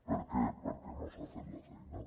per què perquè no s’ha fet la feina